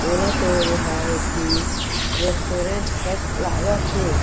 मोला तो ए हा एक ठी रेस्टुरेन्ट कस लागत हे।